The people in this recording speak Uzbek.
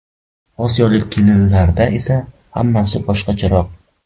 Osiyolik kelinlarda esa hammasi boshqacharoq.